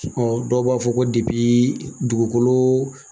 dɔw b'a fɔ ko dugukolo